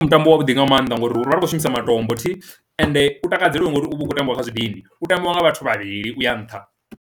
Mutambo wa vhuḓi nga mannḓa ngori ri vha ri khou shumisa matombo thi, ende u takadzela ngori uvha u kho tambiwa kha zwidindi u tambiwa nga vhathu vhavhili uya nṱha.